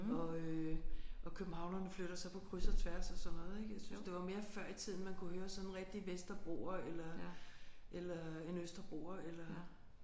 Og øh og københavnerne flytter så på kryds og tværs og sådan noget ik. Jeg synes det var mere før i tiden man kunne høre sådan en rigtig vesterbroer eller eller en østerbroer eller